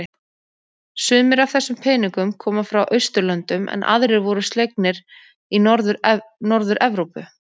Sumir af þessum peningnum koma frá Austurlöndum en aðrir voru slegnir í Norður-Evrópu.